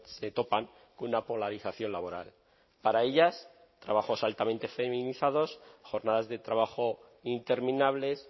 se topan con una polarización laboral para ellas trabajos altamente feminizados jornadas de trabajo interminables